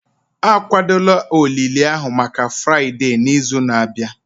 akwadola olili ahụ maka Fraịde n'izu na-abịa